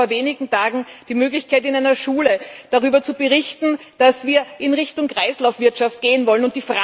Ich hatte vor wenigen Tagen die Möglichkeit, in einer Schule darüber zu berichten, dass wir in Richtung Kreislaufwirtschaft gehen wollen.